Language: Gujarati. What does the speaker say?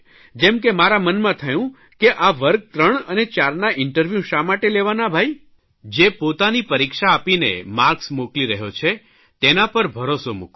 જેમ કે મારા મનમાં થયું કે આ વર્ગ 3 અને 4 ના ઇન્ટરવ્યૂ શા માટે લેવાના ભાઇ જે પોતાની પરીક્ષા આપીને માર્કસ મોકલી રહ્યો છે તેના પર ભરોસો મૂકો